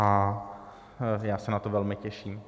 A já se na to velmi těším.